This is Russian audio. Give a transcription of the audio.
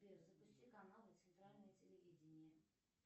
сбер запусти каналы центральное телевидение